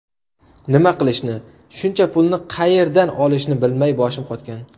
Nima qilishni, shuncha pulni qayerdan olishni bilmay boshim qotgan.